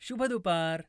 शुभ दुपार